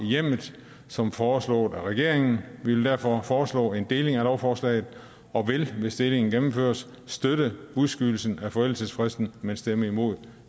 i hjemmet som foreslået af regeringen vi vil derfor foreslå en deling af lovforslaget og vil hvis delingen gennemføres støtte udskydelsen af forældelsesfristen men stemme imod